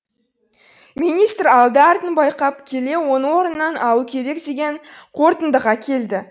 министр алды артын байқап келе оны орнынан алу керек деген қорытындыға келді